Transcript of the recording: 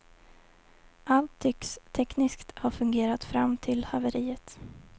Allt tycks tekniskt ha fungerat fram till haveriet.